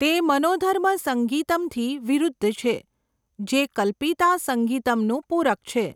તે મનોધર્મ સંગીતમથી વિરુદ્ધ છે, જે કલ્પિતા સંગીતમનું પૂરક છે.